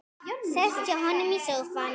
Sest hjá honum í sófann.